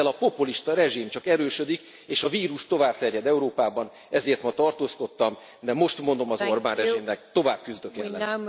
Ezzel a populista rezsim csak erősödik, és a vírus tovább terjed Európában, ezért ma tartózkodtam, de most mondom az Orbán rezsimnek, tovább küzdök ellene.